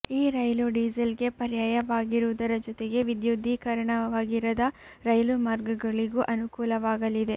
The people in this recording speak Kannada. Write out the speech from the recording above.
ಈ ರೈಲು ಡೀಸೆಲ್ಗೆ ಪರ್ಯಾಯವಾಗಿರುವುದರ ಜತೆಗೆ ವಿದ್ಯುದ್ದೀಕರಣವಾಗಿರದ ರೈಲು ಮಾರ್ಗಗಳಿಗೂ ಅನುಕೂಲವಾಗಲಿದೆ